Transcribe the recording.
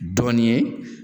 Dɔɔnin ye